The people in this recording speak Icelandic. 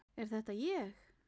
Er þetta ég!?